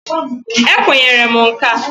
Ekwenyere m nka a.